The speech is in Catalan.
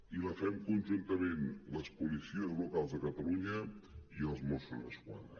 i la fem conjuntament les policies locals de catalunya i els mossos d’esquadra